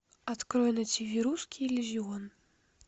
открой на тв русский иллюзион